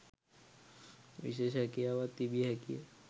විශේෂ හැකියාවක් තිබිය හැකිය.